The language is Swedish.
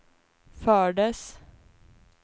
fördes